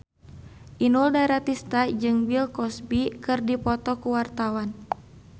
Inul Daratista jeung Bill Cosby keur dipoto ku wartawan